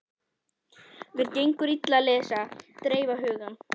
Mér gengur illa að lesa og dreifa huganum.